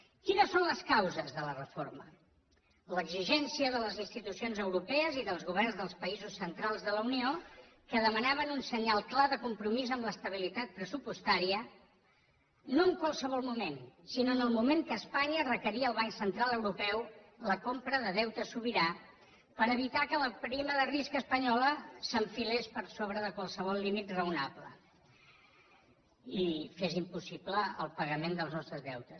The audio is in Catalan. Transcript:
quines són les causes de la reforma l’exigència de les institucions europees i dels governs dels països centrals de la unió que demanaven un senyal clar de compromís amb l’estabilitat pressupostària no en qualsevol moment sinó en el moment que espanya requeria al banc central europeu la compra de deute sobirà per evitar que la prima de risc espanyola s’enfilés per sobre de qualsevol límit raonable i fes impossible el pagament dels nostres deutes